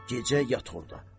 Gecə yat orda.